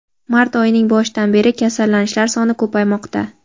mart oyining boshidan beri kasallanishlar soni ko‘paymoqda.